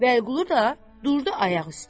Vəliqulu da durdu ayaq üstə.